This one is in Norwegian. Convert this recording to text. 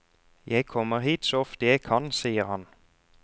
Jeg kommer hit så ofte jeg kan, sier han.